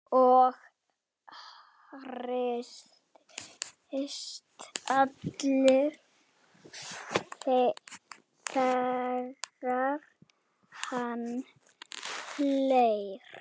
Og hristist allur þegar hann hlær.